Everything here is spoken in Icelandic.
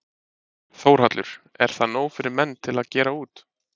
Þórhallur: Er það nóg fyrir menn til að gera út?